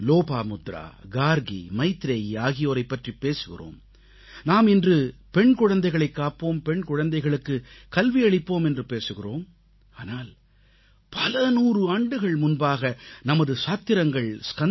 லோப்பமுத்ரா கார்க்கி மைத்ரேயி ஆகியோரைப் பற்றிப் பேசுகிறோம் நாம் இன்று பெண் குழந்தைகளைக் காப்போம் பெண் குழந்தைகளுக்கு கல்வியளிப்போம் என்று பேசுகிறோம் ஆனால் பலநூற்றாண்டுகள் முன்பாக நமது சாத்திரங்கள் கந்தபுராணத்தில்